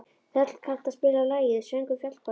Þöll, kanntu að spila lagið „Söngur fjallkonunnar“?